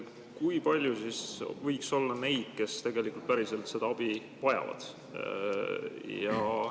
Kui palju võiks olla neid, kes päriselt seda abi vajavad?